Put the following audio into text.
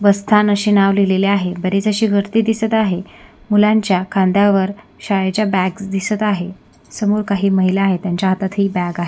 बसस्थान अशे नाव लिहलेले आहे बरीच अशी गर्दी दिसत आहे मुलांच्या खांद्यावर शाळेच्या बॅग्स दिसत आहेत समोर काही महिला आहे त्यांच्या हातात ही काही बॅग आहे.